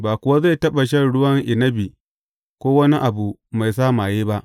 Ba kuwa zai taɓa shan ruwan inabi ko wani abu mai sa maye ba.